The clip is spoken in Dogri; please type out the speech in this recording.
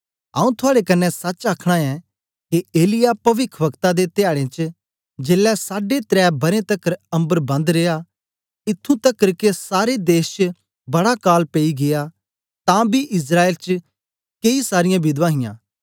आऊँ थुआड़े कन्ने सच आखना ऐं के एलिय्याह पविख्वक्ता दे धयाडें च जेलै साढे त्रै बरें तकर अम्बर बन्द रिया इत्थूं तकर के सारे देश च बड़ा काल पेई गीया तां बी इस्राएल च केई सारीयां विधवां हियां